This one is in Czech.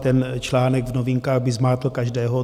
Ten článek v Novinkách by zmátl každého.